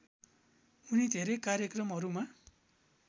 उनी धेरै कार्यक्रमहरूमा